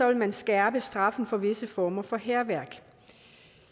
vil man skærpe straffen for visse former for hærværk